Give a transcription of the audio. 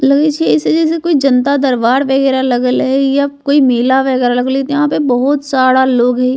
लगे छै ऐसे जैसे कोई जनता दरबार वगैरा लगल हेय या कोई मेला वगैरा लगल हेय यहाँ पर बहुत सारा लोग हेय।